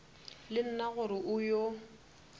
le nna gore o yo